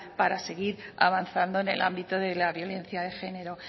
para seguir avanzando en el ámbito de la violencia de género